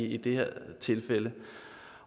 i det her tilfælde